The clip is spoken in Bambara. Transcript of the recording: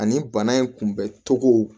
Ani bana in kunbɛcogo